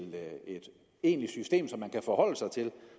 egentlig system som man kan forholde sig til